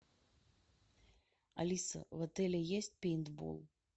алиса в отеле есть пейнтбол